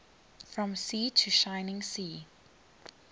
from sea to shining sea